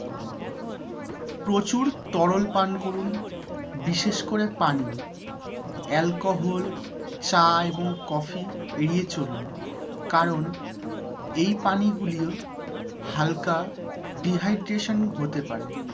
প্রচুর তরল পান করুন, বিশেষ করে পানি। alcohol, চা এবং কফি এড়িয়ে চলুন কারণ এই পানীয়গুলি হালকা dehydration হতে পারে।